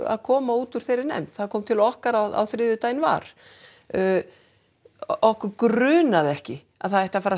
að koma úr þeirri nefnd það kom til okkar á þriðjudaginn var okkur grunaði ekki að það ætti að fara að